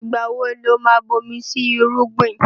Ìgbà wo lo má bomi sí irúgbìn?